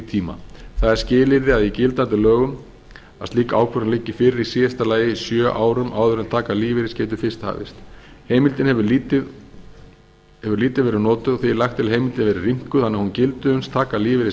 tíma það er skilyrði í gildandi lögum að slík ákvörðun liggi fyrir í síðasta lagi sjö árum áður en taka lífeyris geti fyrst hafist heimildin hefur lítið verið notuð og því er lagt til að heimildin verði rýmkuð þannig að hún gildi uns taka lífeyris hefst